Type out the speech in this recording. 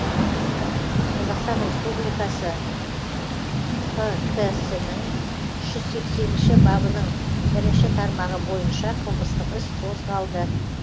қазақстан республикасының қк сінің үш жүз сексенінші бабының бірінші тармағы бойынша қылмыстық іс қозғалды